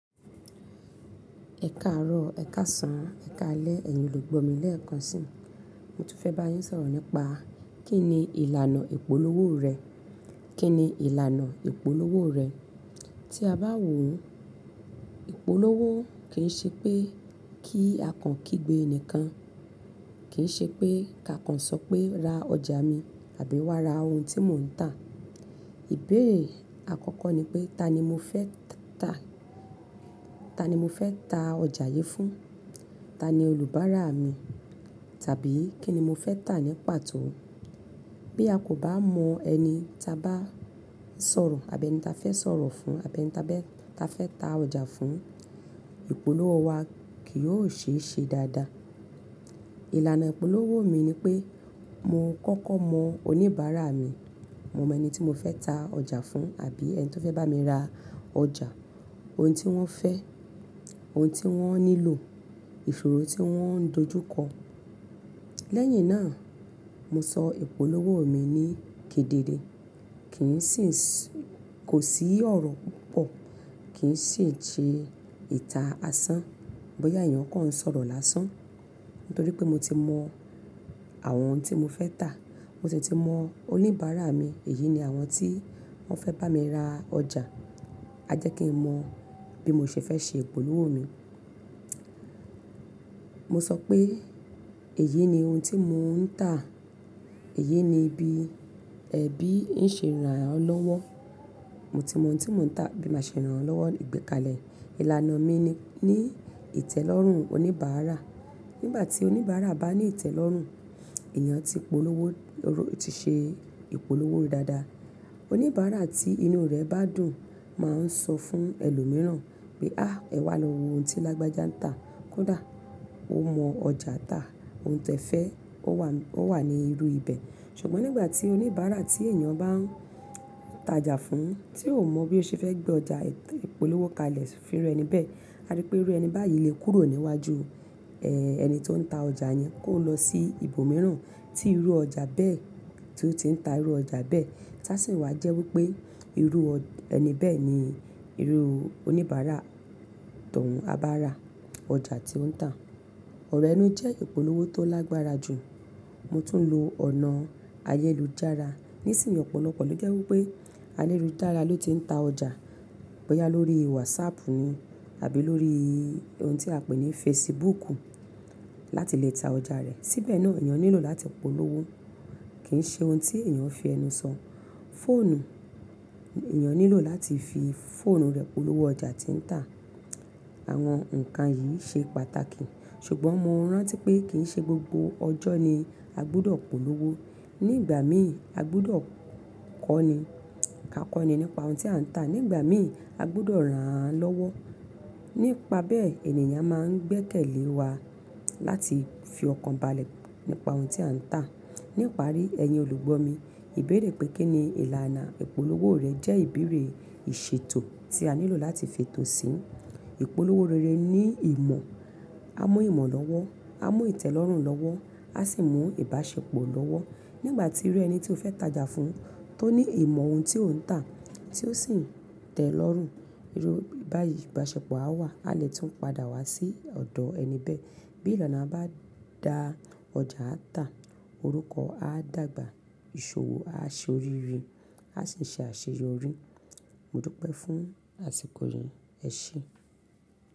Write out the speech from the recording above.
Ẹ̀karọ́, ẹ̀kasan, ẹ̀kalẹ ẹyin olùgbọ́ mi léẹ̀kan si, mo tún fẹ́ bá yín sọ̀rọ̀ nípa kí ni ìlànà ìpolówó rẹ. Kí ni ìlànà ìpolówó rẹ? Tí a bá wò ó, ìpolówó kì í ṣe pé kí a kan kígbe ẹnìkan, kì í ṣe pé ká kan sọ pé ra ọjà mi àbí wá ra ohun tí mò ń tà. Ìbéèrè àkọ́kọ́ ni pé ta ni mo fẹ́ tà? Ta ni mo fẹ́ ta ọjà yí fún? Ta ni oníbàárà mi? Tàbí kí ni mo fẹ́ tà nípa tó? Bí a kò bá mọ ẹni ta bá sọ̀rọ̀ àbí ẹni ta fẹ́ sọ̀rọ̀ fún, àbí ẹni ta bá ta fẹ́ ta ọjà fún, ìpolówó wa kì yóò ṣe é ṣe dáadáa. Ìlànà ìpolówó mi ni pé mo kọ́kọ́ mọ oníbàárà mi. Mo mọ ẹni tí mo fẹ́ ta ọjà fún àbí ẹni tó fẹ́ bá mi ra ọjà, ohun tí wọ́n fẹ́, ohun tí wọ́n nílò, ìfòòró tí wọ́n ń dojú kọ. Lẹ́yìn náà, mo sọ ìpolówó mi ní kedere. Kì í sì ń sì-- kò sí ọ̀rọ̀ púpọ̀, kì í sì ń ṣe ìtà asán bóyá èèyàn kọ̀ ń sọ̀rọ̀ lásán. Nítorí pé mo ti mọ àwọn ohun tí mo fẹ́ tà, mo sì ti mọ oníbàárà mi. Èyí ni àwọn tí wọ́n fẹ́ bá mi ra ọjà. A jẹ́ kí n mọ bí mo ṣe fẹ́ ṣe ìpolówó mi. Mo sọ pé èyí ni ohun tí mò ń tà, èyí ni ibi ẹbí ń ṣe ran lọ́wọ́. Mo ti mọ ohun tí mò ń tà, bí mo ṣe ń ràn án lọ́wọ́, ìgbẹ́kalẹ̀. Ìlànà mi ní ìtẹ́lọ́rùn oníbàárà. Nígbà tí oníbàárà bá ní ìtẹ́lọ́rùn, èèyàn tí ìpolówó ó ti ṣe ìpolówó rẹ̀ dáadáa. Oníbàárà tí inú rẹ̀ bá dùn máa ń sọ fún ẹlòmíràn pé, "á ẹ wá lọ wo ohun tí Lágbájá ń tà. Kódà ó mọ ọjà tà, ohun tẹ fẹ́, ó wà, ó wà ní irú ibẹ̀." Ṣùgbọ́n nígbà tí oníbàárà tí èèyàn bá ń ta ọjà fún, tí ò mọ bí ó ṣe fẹ́ gbé ọjà ìpolówó kalẹ̀ fún irú ẹni bẹ́ẹ̀, a rí pé irú ẹni báyìí lè kúrò níwájú, ẹ́, ẹni tó ń ta ọjà yẹn kó lọ sí ibòmíràn tí irú ọjà bẹ́ẹ̀, tí ó ti ń ta irú ọjà bẹ́ẹ̀. Tásìn wá jẹ́ wí pé irú ẹni bẹ́ẹ̀ ni irú oníbàárà tọ̀ún á bá ra ọjà tí ó ń tà. Ọ̀rọ̀ ẹnu jẹ́ ìpolówó tó lágbára jù. Mo tún lo ọ̀nà ayélujára. Nísìnyí ọ̀pọ̀lọpọ̀ ló jẹ́ wí pé a lérú dára ló ti ń ta ọjà bóyá lórí WhatsApp rí àbí lórí ohun tí a pè ní Facebook láti lè ta ọjà rẹ̀. Síbẹ̀ náà èèyàn nílò láti polówó. Kì í ṣe ohun tí èèyàn fi ẹnu sọ. Fóònù, èèyàn nílò láti fi foónù rẹ̀ polówó ọjà tí ń tà. Àwọn ǹkan yìí ṣe pàtàkì. Ṣùgbọ́n mo rántí pé kì í ṣe gbogbo ọjọ́ ni a gbúdọ̀ polówó. Ní ìgbà míì, a gbúdọ̀ kọ́ni. A kọ́ni nípa ohun tí à ń tà. Ní ìgbà míì, a gbúdọ̀ ran án lọ́wọ́. Nípa bẹ́ẹ̀, ènìyàn máa ń gbékèlé wa láti fi ọkàn balẹ̀ nípa ohun tí à ń tà. Ní ìparí, ẹ̀yin olùgbọ́ mi, ìbéèrè pé kí ni ìlànà ìpolówó rẹ̀ jẹ́ ìbéèrè ìṣètò tí a nílò láti fètò sí. Ìpolówó rere ní ìmọ̀. A mú ìmọ̀ lọ́wọ́, a mú ìtẹ́lọ́rùn lọ́wọ́, a sì mú ìbáṣepọ̀ lọ́wọ́. Nígbà tí irú ẹni tí o fẹ́ ta ọjà fún, tó ní ìmọ̀ ohun tí ó ń tà, tí ó sì ń tẹ́lọ́rùn, irú ìbáyi-- ìbáṣepọ̀ a wà. A lè tún padà wá sí ọ̀dọ̀ ẹni bẹ́ẹ̀. Bí ìlànà bá da ọjà a tà, orúkọ a dàgbà, ìṣòwò a ṣe orírin, a sì ń ṣe àṣeyọrí. Mo dúpẹ́ fún àsìkò yìí. Ẹ ṣe.